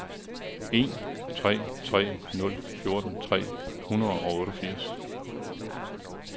en tre tre nul fjorten tre hundrede og otteogfirs